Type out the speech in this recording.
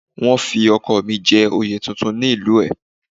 Wọ́n fi ọkọ̀ mi jẹ oyè tuntun ní ìlú ẹ̀